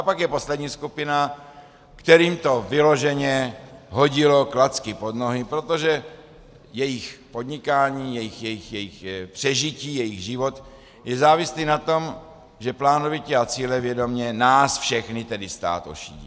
A pak je poslední skupina, kterým to vyloženě hodilo klacky pod nohy, protože jejich podnikání, jejich přežití, jejich život je závislý na tom, že plánovitě a cílevědomě nás všechny, tedy stát, ošidí.